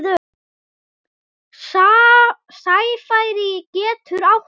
Sæfari getur átt við